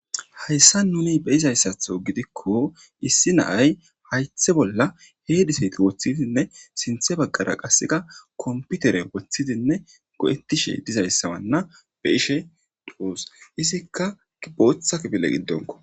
Hayssa nuni be'izayssatho gidikko issi na'ay hayththe bolla heediseti woththidinne sinthe baggara qasseka komputeren woththidinne go'ettishe dizayssawanna be'ishe de'os. Izikka booththa kifile giddonko